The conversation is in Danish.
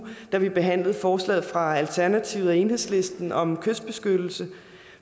da vi behandlede forslaget fra alternativet og enhedslisten om kystbeskyttelse